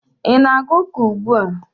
ị na-aga ụka ugbua?